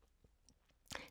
DR K